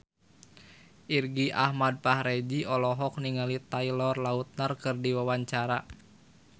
Irgi Ahmad Fahrezi olohok ningali Taylor Lautner keur diwawancara